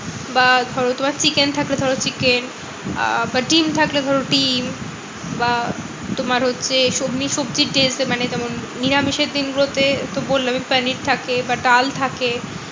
বা ধরো তোমার chicken থাকলে ধরো chicken বা ডিম্ থাকলে ধরো ডিম্ বা তোমার হচ্ছে সবজির day তে মানে যেমন নিরামিষের দিনগুলো তে তো বললাম পনির থাকে বা ডাল থাকে।